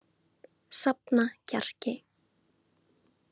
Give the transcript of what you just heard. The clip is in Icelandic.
Safna kjarki.